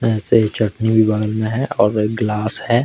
ऐसे ही चटनी भी बाउल में है और एक ग्लास है।